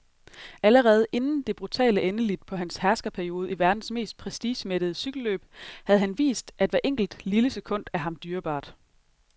Allerede inden det brutale endeligt på hans herskerperiode i verdens mest prestigemættede cykelløb havde han vist, at hvert enkelt, lille sekund er ham dyrebart.